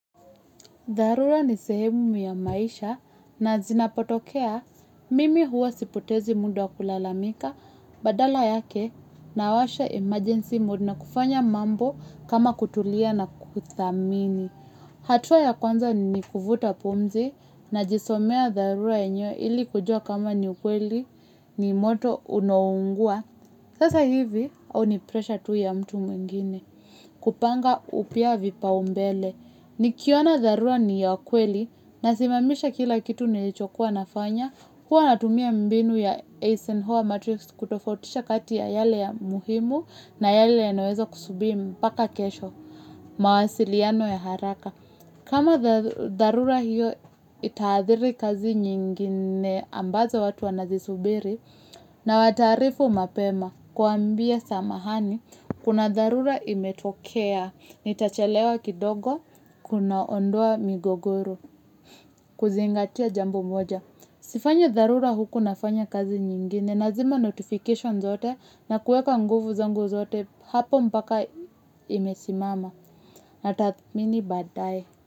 Dharura ni sehemu ya maisha na zinapotokea mimi huwa sipotezi mda wa kulalamika badala yake na washa emergency mode na kufanya mambo kama kutulia na kuthamini. Hatua ya kwanza ni kufuta pumzi na jisomea dharura yenyewe ili kujua kama ni ukweli ni moto unaongua. Sasa hivi au ni pressure tu ya mtu mwingine kupanga upya vipa umbele. Nikiona dharura ni ya kweli na simamisha kila kitu nilichokuwa nafanya. Huwa natumia mbinu ya Aston Hall Matrix kutofotisha kati ya yale ya muhimu na yale ya naweza kusubiro mpaka kesho. Mawasiliano ya haraka kama dharura hiyo itaadhiri kazi nyingine ambazo watu wanazisubiri na wataarifu mapema. Kuwaambia samahani kuna dharura imetokea nitachelewa kidogo kuna ondoa migogoro kuzingatia jambo moja sifanyi dharura huku nafanya kazi nyingine, nazima notification zote, na kueka nguvu zangu zote, hapo mpaka imesimama, na tathmini badaye.